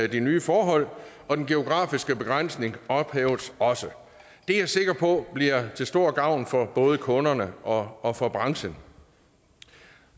de nye forhold og den geografiske begrænsning ophæves også det er jeg sikker på bliver til stor gavn for både kunderne og og for branchen